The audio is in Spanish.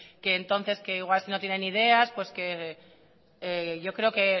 entonces que igual si no tienen ideas etcétera yo creo que